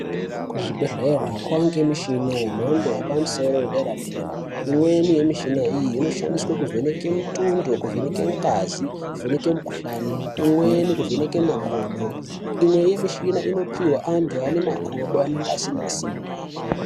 Kuzvibhedhlera kovanikwe michina yemhando yepamusoro yedera-dera. Imweni yemichina iyi inoshandiswe kuvheneka mutundo kuveneke ngazi kuvheneke mikuhani. Imweni kuvheneke makodo imwe yemishina inopihwe antu ane makodo anenge asina simba.